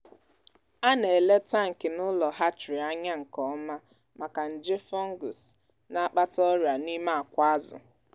a na-ele tankị n’ụlọ hatchery anya nke ọma maka nje fungus na-akpata ọrịa n’ime akwa azụ.